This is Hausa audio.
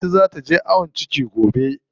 Anty zaa taje ayon ciki gobe.